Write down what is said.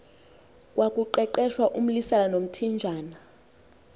kwakuqeqeshwa umlisela nomthinjana